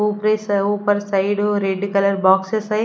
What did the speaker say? ऊपर से ऊपर साइड और रेड कलर बॉक्स --